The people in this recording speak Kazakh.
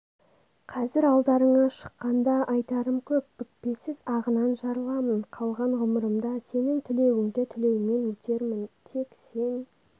қазір алдарыңа шыққанда айтарым көп бүкпесіз ағынан жарыламын қалған ғұмырымда сенің тілеуіңді тілеумен өтермін тек сен